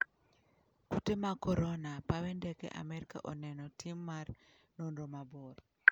Kute mag korona: pawe ndeke amerka oneno tim mar nonro mabor'